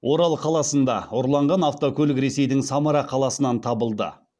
орал қаласында ұрланған автокөлік ресейдің самара қаласынан табылды